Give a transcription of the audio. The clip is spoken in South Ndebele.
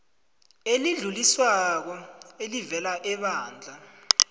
elidluliswako elivela ebandla